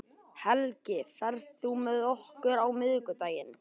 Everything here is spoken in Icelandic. Helgi, ferð þú með okkur á miðvikudaginn?